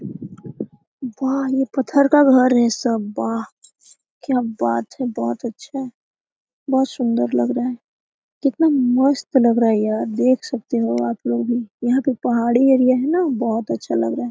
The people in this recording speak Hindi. बाह ये पत्थर का घर है सब बाह क्या बात है बहोत अच्छा है बहोत सुन्दर लग रहा है कितना मस्त लग रहा है यार देख सकते हो आपलोग भी यहाँ का पहाड़ी एरिया है न बहोत अच्छा लग रहा है।